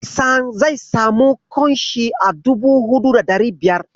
Hassan zai samu ƙunshin a dubu huɗu da ɗari biyar.